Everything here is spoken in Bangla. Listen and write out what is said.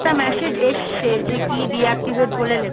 massage এসছে, যে কি deactivate বলে লেখা?